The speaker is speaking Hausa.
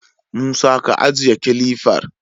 Musa, ka ajiye kilifar!